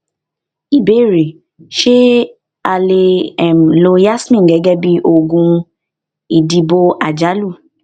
ìbéèrè ṣé a um lè um lo yasmin gégé bí oògùn ìdìbò àjálù